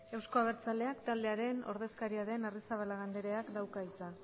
euzko abertzaleak taldearen ordezkaria den arrizabalaga andreak dauka hitza